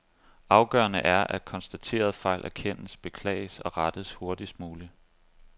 Afgørende er, at konstaterede fejl erkendes, beklages og rettes hurtigst muligt.